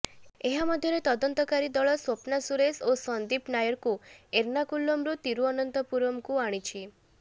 ଏହା ମଧ୍ୟରେ ତଦନ୍ତକାରୀ ଦଳ ସ୍ବପ୍ନା ସୁରେଶ ଓ ସନ୍ଦୀପ ନାୟରକୁ ଏର୍ଣ୍ଣାକୁଲମରୁ ତିରୁଅନନ୍ତପୁରମ ଆଣିଛି